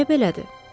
Niyə belədir?